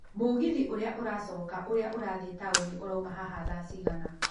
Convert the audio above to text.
mũgithi ũrĩa ũracoka ũrĩa ũrathiĩ taũni ũrauma haha thaa cigana